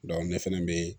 ne fɛnɛ be